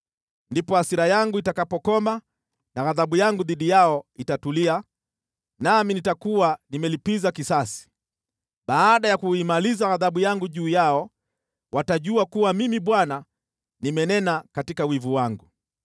“Ndipo hasira yangu itakapokoma na ghadhabu yangu dhidi yao itatulia, nami nitakuwa nimelipiza kisasi. Baada ya kuimaliza ghadhabu yangu juu yao, watajua kuwa mimi Bwana nimenena katika wivu wangu.